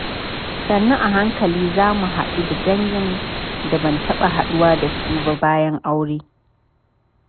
Sannu a hankali, za mu haɗu da dangin da ban taɓa haɗuwa da su ba bayan aure.